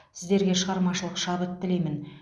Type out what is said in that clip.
сіздерге шығармашылық шабыт тілеймін